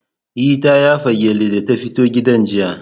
E, ta yafa gyalle da ta fito gidan jiya.